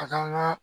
A kan ka